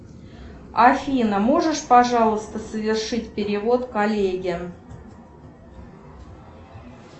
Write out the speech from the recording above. афина можешь пожалуйста совершить перевод коллеге